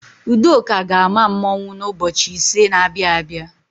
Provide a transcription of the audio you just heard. Udoka ga-ama mmanwụ n'ụbọchị ise na-abịa abịa.